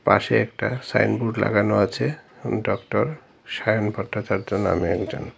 পাশে একটা সাইনবোর্ড লাগানো আছে ডক্টর সায়ন ভট্টাচার্য নামে একজন।